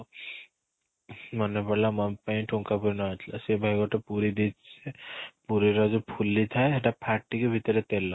ମନେପଡ଼ିଲା mummy ପାଇଁ ଠୁଙ୍କା ପୁରି ନେବାର ଥିଲା ସେଇ ପାଇଁ ଗୋଟେ ପୁରି ଦେଇଛି ଯେ ପୁରି ର ଯୋଉ ଫୁଲି ଥାଏ ସେଇଟା ଫାଟିକି ଭିତରେ ତେଲ